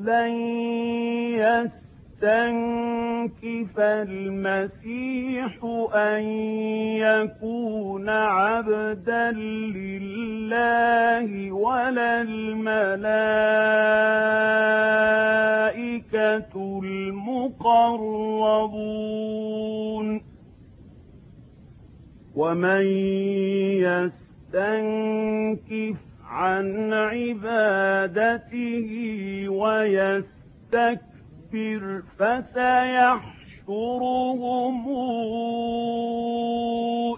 لَّن يَسْتَنكِفَ الْمَسِيحُ أَن يَكُونَ عَبْدًا لِّلَّهِ وَلَا الْمَلَائِكَةُ الْمُقَرَّبُونَ ۚ وَمَن يَسْتَنكِفْ عَنْ عِبَادَتِهِ وَيَسْتَكْبِرْ فَسَيَحْشُرُهُمْ